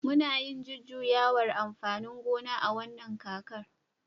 muna yin jujjuyawar amfanin gona a wannan kakar